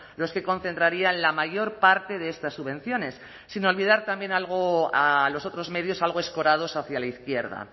los que concentrarían la mayor parte de estas subvenciones sin olvidar también a los otros medios algo escorados hacia la izquierda